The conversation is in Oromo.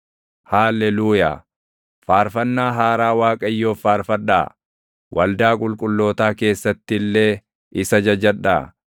Haalleluuyaa. Faarfannaa haaraa Waaqayyoof faarfadhaa; waldaa qulqullootaa keessatti illee isa jajadhaa.